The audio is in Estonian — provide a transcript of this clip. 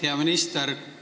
Hea minister!